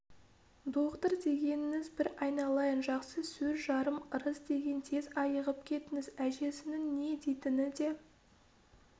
доғдыр дегеніңіз бір айналайын жақсы сөз жарым ырыс деген тез айығып кетіңіз әжесінің не дейтіні де